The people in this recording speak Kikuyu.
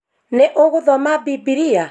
Nĩ ũthomaga bibilia?